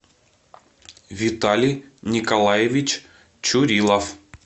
виталий николаевич чурилов